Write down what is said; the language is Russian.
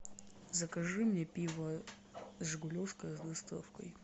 закажи мне пиво жигулевское с доставкой